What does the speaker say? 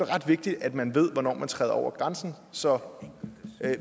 ret vigtigt at man ved hvornår man træder over grænsen så